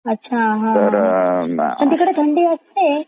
अच्छा हा पण तिकडे थंडी असते